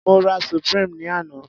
Mo rà supreme ní àná.